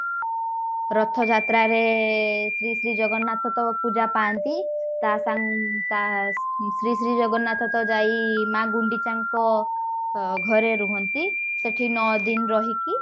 ରଥ ଯାତ୍ରା ରେ ଶ୍ରୀ ଶ୍ରୀ ଜଗନ୍ନାଥ ତ ପୂଜା ପାଆନ୍ତି ତା ସା ତା ଶ୍ରୀ ଶ୍ରୀ ଜଗନ୍ନାଥ ତ ଯାଇ ମାଆ ଗୁଣ୍ଡିଚା ଙ୍କ ଅ ଘରେ ରୁହନ୍ତି ସେଠି ନଅ ଦିନ ରହିକି